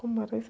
Como era isso?